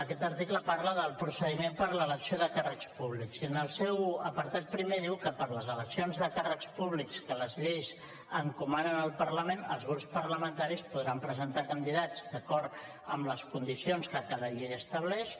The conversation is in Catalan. aquest article parla del procediment per a l’elecció de càrrecs públics i en el seu apartat primer diu que per a les eleccions de càrrecs públics que les lleis encomanen al parlament els grups parlamentaris podran presentar candidats d’acord amb les condicions que cada llei estableix